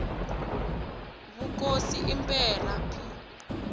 vukosi i mberha p